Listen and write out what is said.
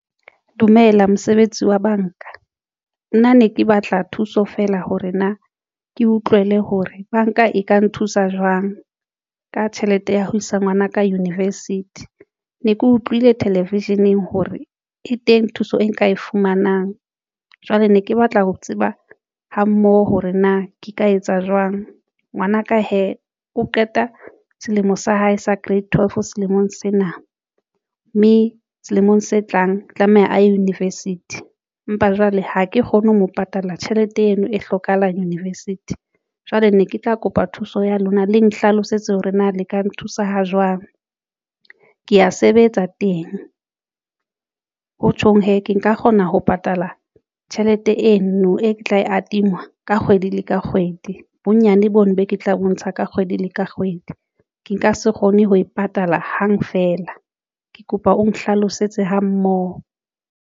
Dumela mosebetsi wa banka nna ne ke batla thuso feela hore na ke utlwele hore banka e ka nthusa jwang ka tjhelete ya ho isa ngwanaka university ne ke utlwile television-eng hore e teng thuso e nka e fumanang. Jwale ne ke batla ho tseba ha mmoho hore na ke ka etsa jwang. Ngwanaka hee o qeta selemo sa hae sa grade twelve selemong sena mme selemong se tlang tlameha a ye university empa jwale ha ke kgone ho mo patala tjhelete eno e hlokahalang university jwale ne ke tla kopa thuso ya lona le nhlalosetse hore na le ka nthusa ha jwang ke ya sebetsa teng ho tjhong hee ke nka kgona ho patala tjhelete eno e ke tla e adingwa ka kgwedi le kgwedi. Bonyane bono boo ke tla bontsha ka kgwedi le kgwedi, ke nka se kgone ho e patala hang feela ke kopa o nhlalosetse ha mmoho.